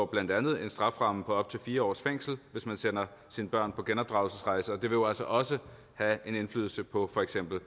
blandt andet en strafferamme på op til fire års fængsel hvis man sender sine børn på genopdragelsesrejse og det vil jo altså også have en indflydelse på for eksempel